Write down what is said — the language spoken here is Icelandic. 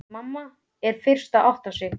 Mamma er fyrst að átta sig: